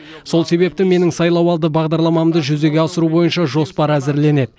сол себепті менің сайлауалды бағдарламамды жүзеге асыру бойынша жоспар әзірленеді